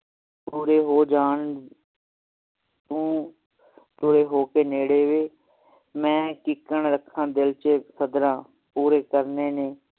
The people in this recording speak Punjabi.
ਪੂਰੇ ਹੋ ਜਾਂ ਤੂੰ ਹੋਏ ਹੋ ਕੇ ਨੇੜੇ ਵੇ ਮੈਂ ਕੀਕਣ ਰਖਣ ਦਿਲ ਵਿਚ ਸਦਰਾਂ ਪੂਰੇ ਕਰਨੇ ਨੇ